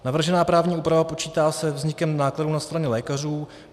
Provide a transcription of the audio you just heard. Navržená právní úprava počítá se vznikem nákladů na straně lékařů.